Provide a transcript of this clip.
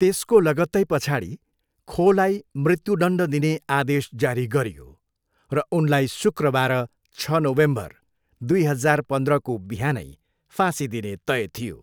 त्यसको लगत्तै पछाडि, खोलाई मृत्युदण्ड दिने आदेश जारी गरियो र उनलाई शुक्रबार, छ नोभेम्बर, दुई हजार पन्ध्रको बिहानै फाँसी दिने तय थियो।